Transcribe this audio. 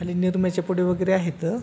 आणि निरम्याची पुड्या वेगेरे आहेत.